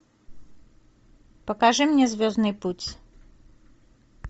покажи мне звездный путь